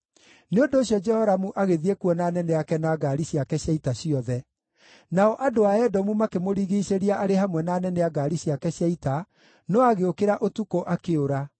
Nĩ ũndũ ũcio Jehoramu agĩthiĩ kuo na anene ake na ngaari ciake cia ita ciothe. Nao andũ a Edomu makĩmũrigiicĩria arĩ hamwe na anene a ngaari ciake cia ita, no agĩũkĩra ũtukũ, akĩũra.